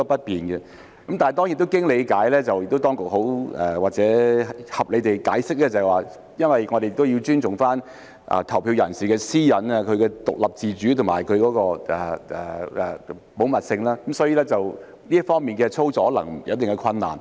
但當然，經過理解後我們明白，而當局亦合理地解釋，因為要尊重投票人士的私隱、其獨立自主及保密性，所以，這方面的操作可能有一定的困難。